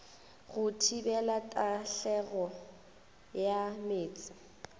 go thibela tahlegelo ya meetse